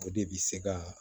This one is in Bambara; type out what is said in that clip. O de bi se ka